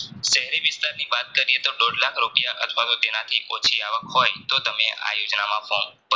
શહેરી વિસ્તારની વાત કરીયે તો દોઢ લાખ રૂપિયા અથવાતો તેનાથી ઓછી હોય તોતમે આ યોજનામાં form ભરી